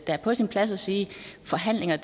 er på sin plads at sige forhandlinger